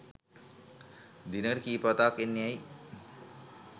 දිනකට කීප වතාවක් එන්නේ ඇයි?